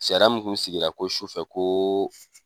Sariya mun kun sigira ko sufɛ ko